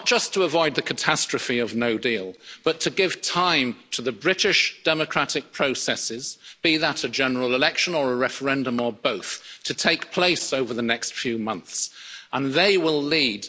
Not just to avoid the catastrophe of no deal but to give time to the British democratic processes, be that a general election or a referendum or both, to take place over the next few months, and they will lead.